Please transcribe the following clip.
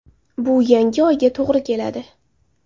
Bu yangi Oyga to‘g‘ri keladi.